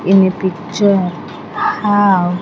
In a picture have --